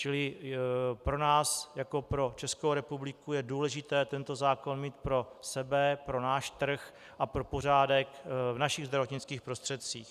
Čili pro nás jako pro Českou republiku je důležité tento zákon mít pro sebe, pro náš trh a pro pořádek v našich zdravotnických prostředcích.